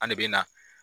An de bɛ na